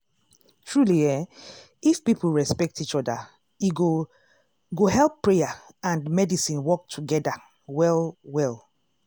truely eeh if people respect each oda e go go help prayer and medicine work togeda well well.